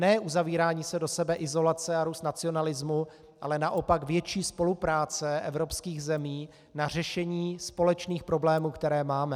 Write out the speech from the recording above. Ne uzavírání se do sebe, izolace a růst nacionalismu, ale naopak větší spolupráce evropských zemí na řešení společných problémů, které máme.